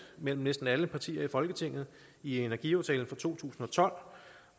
mellem næsten alle partier i folketinget i energiaftalen fra to tusind og tolv